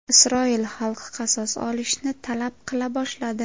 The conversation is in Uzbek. Isroil xalqi qasos olishni talab qila boshladi.